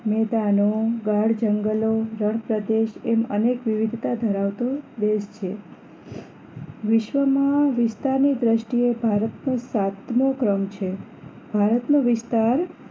મેંદાનો ગાડ જંગલો રણપ્રદેશ એમ અનેક વિવિધતા ધરાવતો દેશ છે વિશ્વમાં વિસ્તારની દ્રષ્ટિએ ભારત નો સાતમો ક્રમ છે ભારતનો વિસ્તાર